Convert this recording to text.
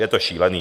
Je to šílený.